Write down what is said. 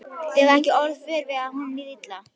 Þið hafið ekki orðið vör við að honum liði illa?